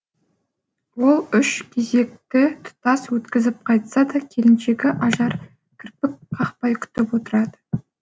ол үш кезекті тұтас өткізіп қайтса да келіншегі ажар кірпік қақпай күтіп отырады